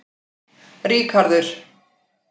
Ríkharður